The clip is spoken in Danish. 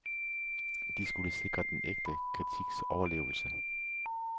De skulle sikre den ægte kritiks overlevelse.